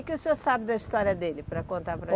O que o senhor sabe da história dele, para contar para a